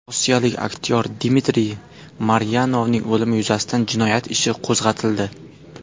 Rossiyalik aktyor Dmitriy Maryanovning o‘limi yuzasidan jinoyat ishi qo‘zg‘atildi.